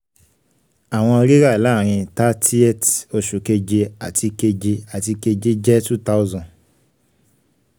àwọn rírà láàrin thirtieth oṣù keje àti keje àti keje jẹ́ two thousand